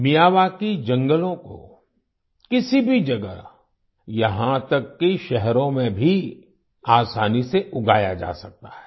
Miyawaki जंगलों को किसी भी जगह यहाँ तक कि शहरों में भी आसानी से उगाया जा सकता है